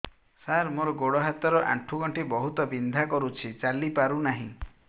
ସାର ମୋର ଗୋଡ ହାତ ର ଆଣ୍ଠୁ ଗଣ୍ଠି ବହୁତ ବିନ୍ଧା କରୁଛି ଚାଲି ପାରୁନାହିଁ